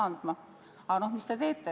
Aga mis te edasi teete?